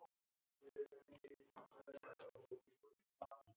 Það var hún sem kaus!